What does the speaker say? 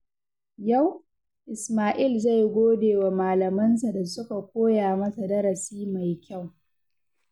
Yau, Isma'il zai gode wa malamansa da suka koya masa darasi mai kyau.